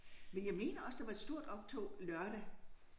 Men jeg mener også der var et stort optog lørdag